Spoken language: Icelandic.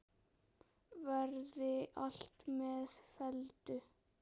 Verði allt með felldu.